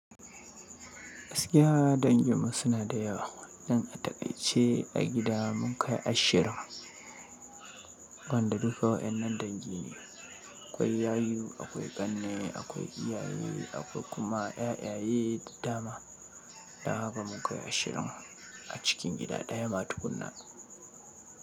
Gaskiya, danginmu suna da yawa. Don a taƙaice a gida mun kai ashirin, gonda duka wa'innan dangi ne, akwai yayu, akwai ƙanne, akwai iyaye, akwai kuma 'ya'yaye da dama. Dan haka mun kai ashirin a cikin gida ɗaya ma tukunna.